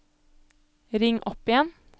ring opp igjen